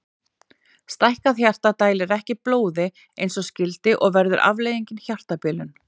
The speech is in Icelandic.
Stækkað hjarta dælir ekki blóði eins og skyldi og verður afleiðingin hjartabilun.